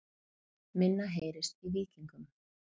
Minna heyrist í Víkingum